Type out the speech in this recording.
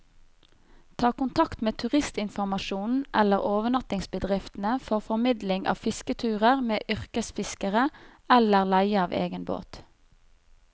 Ta kontakt med turistinformasjonen eller overnattingsbedriftene for formidling av fisketurer med yrkesfiskere, eller leie av egen båt.